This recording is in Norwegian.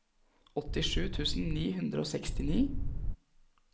åttisju tusen ni hundre og sekstini